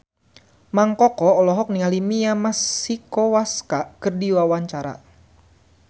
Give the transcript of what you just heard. Mang Koko olohok ningali Mia Masikowska keur diwawancara